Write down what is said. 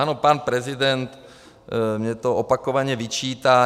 Ano, pan prezident mi to opakovaně vyčítá.